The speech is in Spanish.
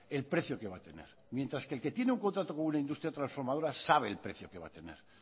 el precio que va a tener mientras que el que tiene un contrato con una industria trasformadora sabe el precio que va a tener